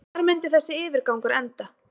Hvar mundi þessi yfirgangur enda?